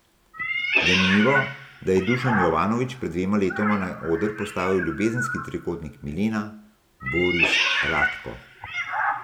Zanimivo, da je Dušan Jovanović pred dvema letoma na oder postavil ljubezenski trikotnik Milena, Boris, Radko.